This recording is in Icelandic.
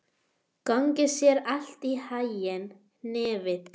Gangi þér allt í haginn, Hnefill.